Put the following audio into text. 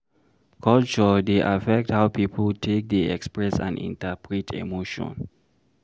Culture dey affect how pipo take dey express and interpret emotion